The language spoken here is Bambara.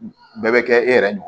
Bɛɛ bɛ kɛ e yɛrɛ dun